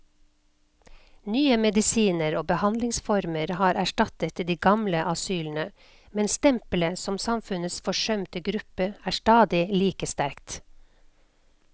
Nye medisiner og behandlingsformer har erstattet de gamle asylene, men stempelet som samfunnets forsømte gruppe er stadig like sterkt.